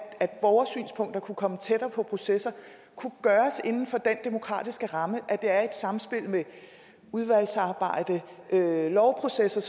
at borgersynspunkter kunne komme tættere på processer kunne gøres inden for den demokratiske ramme at det er i et samspil med udvalgsarbejde og lovprocessen